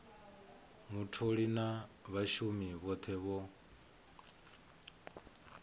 mutholi na vhashumi vhothe vho